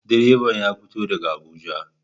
Direban ya fito daga Abuja.